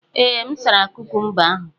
Ee, m sara kukumba ahụ.